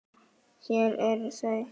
Hér eru þau